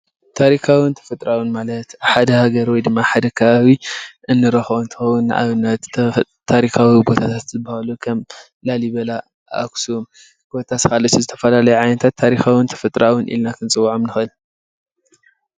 ታሪካውን ተፈጥራውን ማለት ኣብ ሓደ ሃገር ወይ ድማ ኣብ ሓደ ከባቢ እንረክቦም እንትከውን ንኣብነት ፦ካብ ቦታታት ዝበሃሉ ከም ላሊበላ ፣ኣክሱም ኮታስ ካልኦት ዝተፈላለዩ ዓይነታት ታሪካውን ተፈጥራኣውን ኢልና ክንፅዎዖም ንክእል።